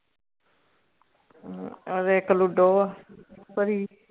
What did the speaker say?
ਔਰ ਏਕ ਲੁਡੋ ਭਰੀ